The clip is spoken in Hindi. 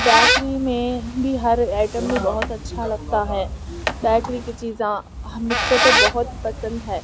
बेकरी में मुझे हर आइटम में बहुत अच्छा लगता है बेकरी की चीज़ा हा मुझको तो बहुत पसंद है।